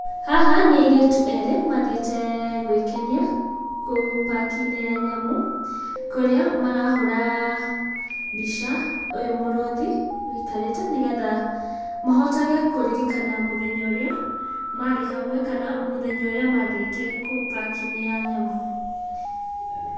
Haha nĩ airĩtu erĩ mathiĩte gwikenia, kũu park-inĩ ya nyamũ kũrĩa marahũra mbica, ũyũ mũrũthi wũikarĩte, nĩgetha mahotage kũririkana mũthenya ũrĩa marĩ hamwe kana mũthenya ũrĩa mathiĩte kũu park-inĩ ya nyamũ.